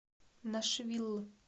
нашвилл